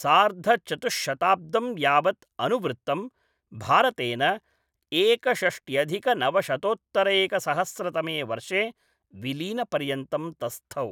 सार्धचतुश्शताब्दं यावत् अनुवृत्तं, भारतेन एकषष्ट्यधिकनवशतोत्तरैकसहस्रतमे वर्षे विलीनपर्यन्तं तस्थौ।